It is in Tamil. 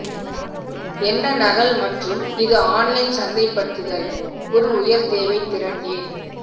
என்ன நகல் மற்றும் இது ஆன்லைன் சந்தைப்படுத்தல் ஒரு உயர் தேவை திறன் ஏன்